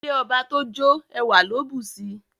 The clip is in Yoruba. Ilé ọba tó jó, ẹwà ló bùsi.